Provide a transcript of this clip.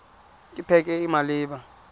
ke pac e e maleba